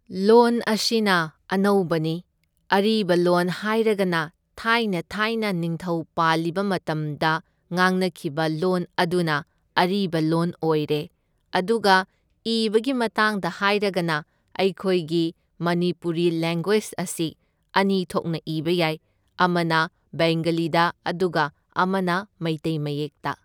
ꯂꯣꯟ ꯑꯁꯤꯅ ꯑꯅꯧꯕꯅꯤ, ꯑꯔꯤꯕ ꯂꯣꯟ ꯍꯥꯏꯔꯒꯅ ꯊꯥꯏꯅ ꯊꯥꯏꯅ ꯅꯤꯡꯊꯧ ꯄꯥꯜꯂꯤꯕ ꯃꯇꯝꯗ ꯉꯥꯡꯅꯈꯤꯕ ꯂꯣꯟ ꯑꯗꯨꯅ ꯑꯔꯤꯕ ꯂꯣꯟ ꯑꯣꯏꯔꯦ, ꯑꯗꯨꯒ ꯏꯕꯒꯤ ꯃꯇꯥꯡꯗ ꯍꯥꯏꯔꯒꯅ ꯑꯩꯈꯣꯏꯒꯤ ꯃꯅꯤꯄꯨꯔꯤ ꯂꯦꯡꯒ꯭ꯋꯦꯖ ꯑꯁꯤ ꯑꯅꯤ ꯊꯣꯛꯅ ꯏꯕ ꯌꯥꯏ, ꯑꯃꯅ ꯕꯦꯡꯒꯂꯤꯗ ꯑꯗꯨꯒ ꯑꯃꯅ ꯃꯩꯇꯩ ꯃꯌꯦꯛꯇ꯫